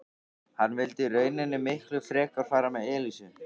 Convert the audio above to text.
Hann vildi í rauninni miklu frekar fara með Elísu.